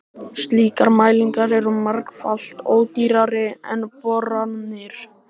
Slíkar mælingar eru margfalt ódýrari en boranir.